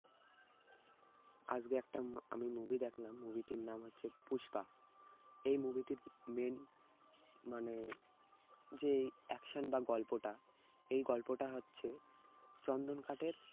আজকে একটা আমি movie দেখলাম movie টির নাম হচ্ছে পুষ্পা। এই movie টির main মানে যে action বা গল্পটা এই গল্পটা হচ্ছে চন্দন কাঠের